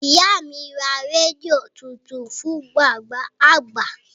Ìyá mi ra rédíò tuntun fún bàbá àgbà